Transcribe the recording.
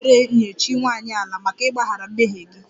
Kpee ekpere nye chi nwanyị 'ala' maka ịgbaghara mmehie gị!